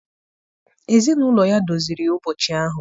Ezinụlọ ya doziri ụbọchị ahụ.